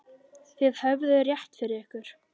Þið höfðuð rétt fyrir ykkur.